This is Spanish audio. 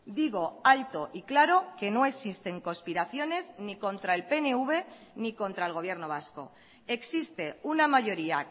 digo alto y claro que no existen conspiraciones ni contra el pnv ni contra el gobierno vasco existe una mayoría